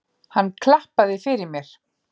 Hann klappaði fyrir mér.